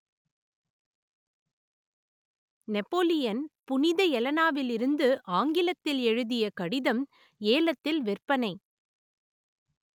Napoleon புனித எலனாவிலிருந்து ஆங்கிலத்தில் எழுதிய கடிதம் ஏலத்தில் விற்பனை